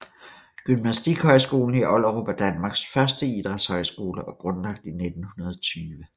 Gymnastikhøjskolen i Ollerup er Danmarks første idrætshøjskole og grundlagt i 1920